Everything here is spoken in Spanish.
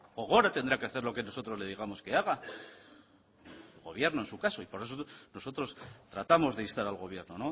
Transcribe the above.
gogora tendrá que hacer lo que nosotros le digamos que haga el gobierno en su caso y por eso nosotros tratamos de instar al gobierno